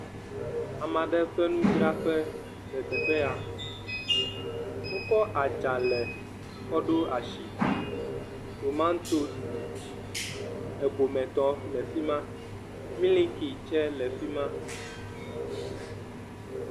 Ame aɖe ƒe nudzraƒe le teƒe ya, wokɔ adzalɛ kɔɖo asi, tomantosi egometɔ le fi ma milki tse le fi ma.